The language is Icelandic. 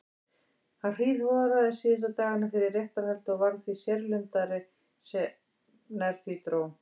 Hann hríðhoraðist síðustu dagana fyrir réttarhaldið og varð því sérlundaðri sem nær því dró.